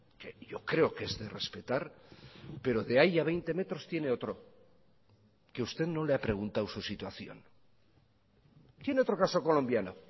que yo creo que es de respetar pero de ahí a veinte metros tiene otro que usted no le ha preguntado su situación tiene otro caso colombiano